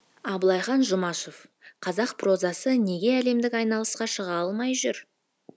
абылайхан жұмашев қазақ прозасы неге әлемдік айналысқа шыға алмай жүр